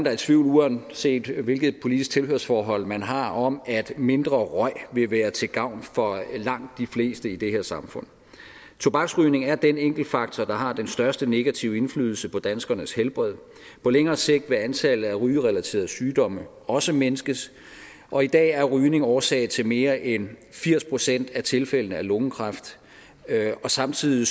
er i tvivl uanset hvilket politisk tilhørsforhold man har om at mindre røg vil være til gavn for langt de fleste i det her samfund tobaksrygning er den enkeltfaktor der har den største negative indflydelse på danskernes helbred på længere sigt vil antallet af rygerelaterede sygdomme også mindskes og i dag er rygning årsag til mere end firs procent af tilfældene af lungekræft og samtidig